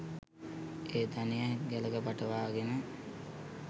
ඒ ධනය ගැලක පටවා ගෙන